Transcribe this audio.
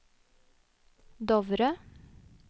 Dovre